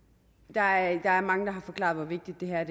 der er mange der har forklaret hvor vigtigt det her er